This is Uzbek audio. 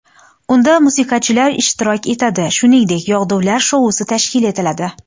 Unda musiqachilar ishtirok etadi, shuningdek, yog‘dular shousi tashkil etiladi.